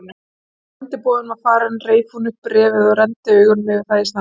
Þegar sendiboðinn var farinn reif hún upp bréfið og renndi augum yfir það í snatri.